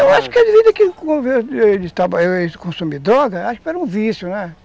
Eu acho que eles consumem droga, acho que era um vício, né?